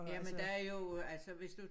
Jamen der er jo altså hvis du